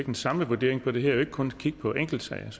en samlet vurdering på det her skal man ikke kun kigge på enkeltsager jeg